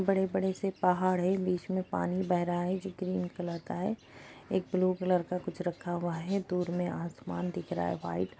बड़े बड़े से पहाड़ है बीच मे पानी बह रहा है जो ग्रीन कलर का है एक ब्लू कलर का कुछ रखा हुआ है दूर मे आसमान दिख रहा है व्हाइट ।